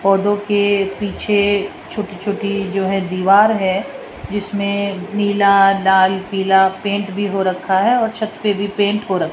पौधों के पीछे छोटी छोटी जो है दीवार है जिसमें नीला लाल पीला पेंट भी हो रखा है और छत पे भी पेंट हो र --